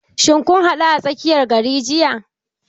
Shin kun haɗu a tsakiyar gari jiya?